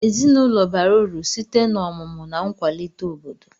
Ezinụlọ bara uru sitee na omụmu na nkwalite obodo